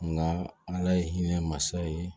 Nka ala ye hinɛ mansa ye